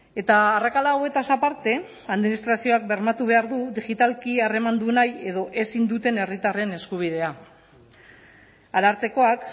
eta arrakala hauetaz aparte administrazioak bermatu behar du digitalki harremandu nahi edo ezin duten herritarren eskubidea arartekoak